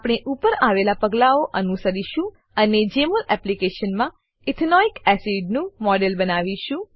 આપણે ઉપર આપેલા પગલાઓ અનુસરીશું અને જેમોલ એપ્લીકેશનમાં ઇથેનોઇક એસિડ નું મોડેલ બનાવીશું